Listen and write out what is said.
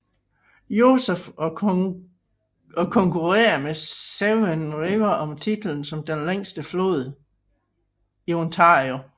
Joseph og konkurerrer med Severn River om titlen som den længste flod i Ontario